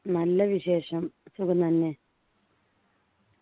നല്ല വിശേഷം സുഖം തന്നെ